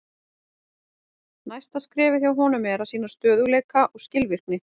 Næsta skrefið hjá honum er að sýna stöðugleika og skilvirkni.